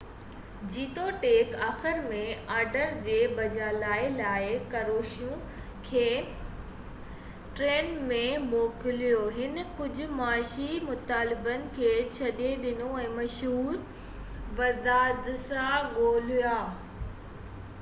جيتوڻيڪ آخر ۾ آرڊر جي بحالي لاءِ ڪروششيوو کي ٽئنڪن ۾ موڪليو هن ڪجهه معاشي مطالبن کي ڇڏي ڏنو ۽ مشهور ولادسلا گومولڪا کي نئون وزيراعظم مقرر ڪرڻ تي اتفاق ڪيو